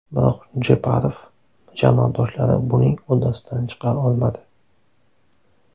Biroq Jeparov jamoadoshlari buning uddasidan chiqa olmadi.